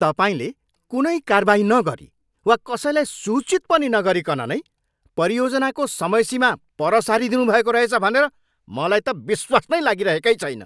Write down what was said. तपाईँले कुनै कारबाही नगरी वा कसैलाई सूचित पनि नगरीकन नै परियोजनाको समयसीमा पर सारिदिनुभएको रहेछ भनेर मलाई त विश्वास नै लागिरहेकै छैन।